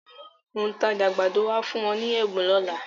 Òǹtajà àgbàdo á fún wọn ní ẹ̀bùn lọ́la.